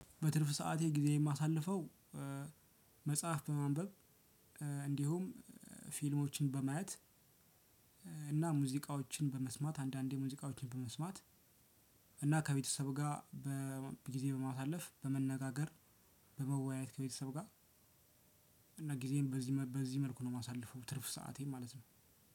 በትርፍ ሰዓቴ ጊዜ የማሳልፈው። መጽሐፍ በማንበብ እንዲሁም ፊልሞችን በማየት። እና ሙዚቃዎችን በመስማት አንዳንዴ ሙዚቃዎችን በመስማት። እና ከቤተሰብ ጋር በጊዜ በማሳለፍ በመነጋገር በመወያየት ከቤተሰብ ጋር። እና ጊዜም በዚህ በዚህ መልኩ ነው የማሳልፈው ትርፍ ሰአቴን ማለት ነው።